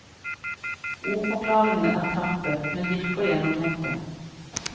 Ordforklaringene er knappe, men virker gjennomtenkte.